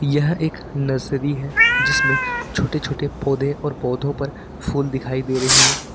यह एक नर्सरी है जिसमें छोटे छोटे और पौधों पर फूल दिखाई दे रही है।